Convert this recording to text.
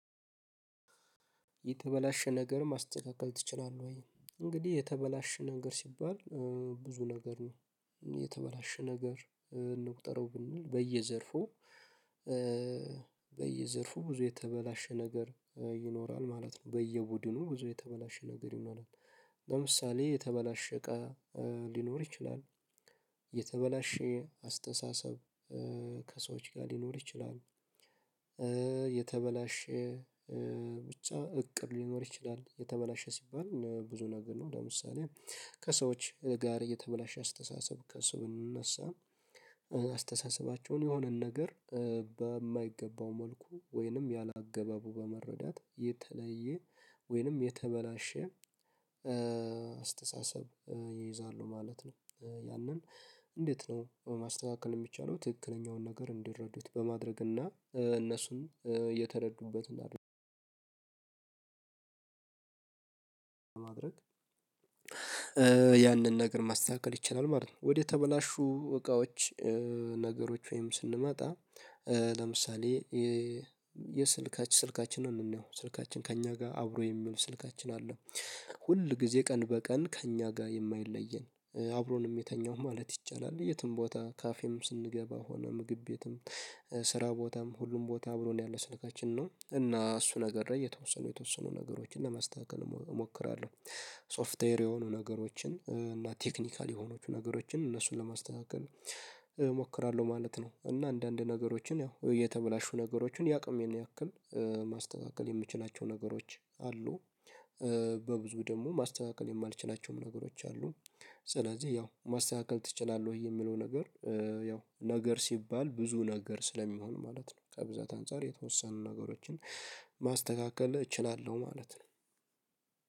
የተበላሸ ነገር ማስተካከል ትችላለህ? ወይ እንግዲህ የተበላሸ ነገር ሲባል ብዙ ነገር ነው የተበላሸ ነገር እንቁጠረው ብንል በየዘርፉ በየዘርፉ ብዙ የተበላሸ ነገር ይኖራል ማለት ነው። በየቡድኑ ብዙ የተበላሸ ነገር ይኖራል። ለምሳሌ የተበላሸ እቃ ሊኖር ይችላል የተበላሸ አስተሳሰብ ከሰዎች ጋር ሊኖር ይችላሉ። የተበላሸ ብቻ እቅድ ሊኖር ይችላል የተበላሸ ሲባል ብዙ ነገር ነው ለምሳሌ ከሰዎች ጋር የተበላሸ አስተሳሰብ ከስው እንነሳ አስተሳሰባቸውን የሆነን ነገር በማይገባው መልኩ ወይንም ያላገባቡ በመረዳት የተለየ ወይንም የተበላሸ አስተሳሰብ ይይዛሉ ማለት ነው። ያንን እንዴት ነው? ማስተካከል የሚቻለው ትክክለኛውን ነገር እንዲረዱት በማድረግ እና እነሱን የተረዱበት ማድረግ ያንን ነገር ማስተካከል ይችላል ማለት ነው። ወደ ተበላሹ እቃዎች ነገሮች ወይም ስንመጣ ለምሳሌ የስልካችን ስልካችንን ነው ስልካችን ከእኛ ጋር አብሮ የሚውል ስልካችን አለ ሁል ጊዜ ቀን በቀን ከእኛ ጋር የማይለየን አብሮንም የሚተኛው ማለት ይቻላል። የትም ቦታ ካፌም ስንገባ ሆነ ምግብ ቤትም ስራ ቦታም ሁሉም ቦታ ብሎ ነው ያለው ስልካችን ነው እና እሱ ነገር ላይ የተወሰኑ የተወሰኑ ነገሮችን ለማስተካከል እሞክራለሁ ሶፍትዌር የሆኑ ነገሮችን እና ቴክኒካል የሆኑ ነገሮችን እነሱን ለማስተካከል እሞክራለሁ ማለት ነው። እና አንዳንድ ነገሮችን ያው የተበላሹ ነገሮችን ያቅሜን ያክል ማስተካከል የምችላቸው ነገሮች አሉ። በብዙ ደግሞ ማስተካከል የማልችላቸውም ነገሮች አሉ። ስለዚህ ያው ማስተካከል ትችላለህ ወይ የሚለው ነገር? ያው ነገር ሲባል ብዙ ነገር ስለሚሆን ማለት ነው ከብዛት አንፃር የተወሰኑ ነገሮችን ማስተካከል እችላለሁ ማለት ነው።